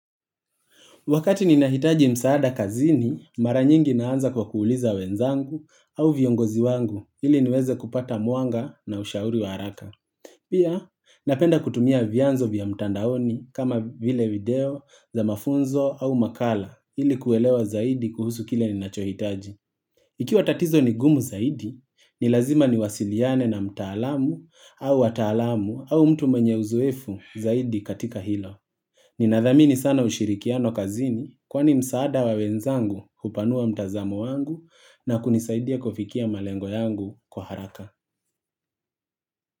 Wakati ninahitaji msaada kazini, mara nyingi naanza kwa kuuliza wenzangu au viongozi wangu ili niweze kupata muanga na ushauri waraka. Pia, napenda kutumia vianzo vya mtandaoni kama vile video za mafunzo au makala ili kuelewa zaidi kuhusu kile ninachohitaji. Ikiwa tatizo ni gumu zaidi, ni lazima ni wasiliane na mtaalamu au watalamu au mtu mwenye uzoefu zaidi katika hilo. Ninadhamini sana ushirikiano kazini kwani msaada wa wenzangu upanua mtazamo wangu na kunisaidia kufikia malengo yangu kwa haraka.